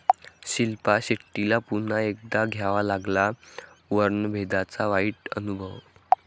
शिल्पा शेट्टीला पुन्हा एकदा घ्यावा लागला वर्णभेदाचा वाईट अनुभव